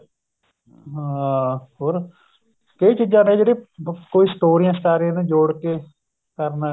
ਹਾਂ ਹ਼ੋਰ ਕਈ ਚੀਜ਼ਾਂ ਨੇ ਜਿਹੜੀ ਕਈ ਸਟੋਰੀਆਂ ਸ਼ਟਾਰੀਆਂ ਨੂੰ ਜੋੜ ਕੇ ਕਰਨਾ